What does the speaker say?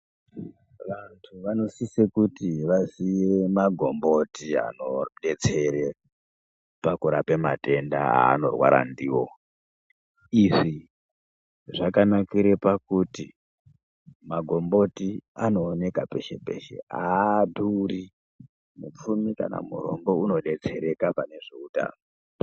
Vantu vanosise kuti vaziye magomboti anodetsere pakurape matenda aanorwara ndiwo, izvi zvakanakira pakuti magomboti anooneka peshe peshe aaduri mupfumi kana murombo unodetsereka pane zveutano.